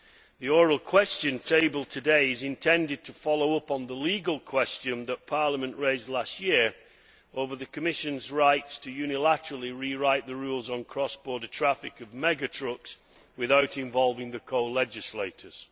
The Oral Question tabled today is intended to follow up on the legal question which Parliament raised last year over the Commission's rights to rewrite unilaterally the rules on cross border traffic of mega trucks without involving the co legislstors.